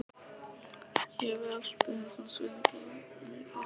Ég velti þessum spurningum mikið fyrir mér.